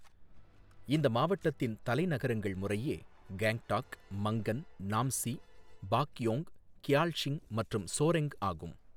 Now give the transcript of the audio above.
இந்த மாவட்டத்தின் தலைநகரங்கள் முறையே கேங்டாக், மங்கன், நாம்சி, பாக்யோங், கியால்ஷிங் மற்றும் ஸோரெங் ஆகும்.